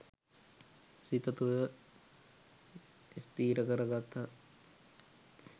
සිත තුළ ස්ථිර කරගත්තා.